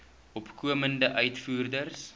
opkomende uitvoerders